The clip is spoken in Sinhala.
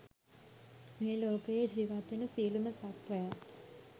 මේලෝකයේ ජීවත්වෙන සියලුම සත්වයන්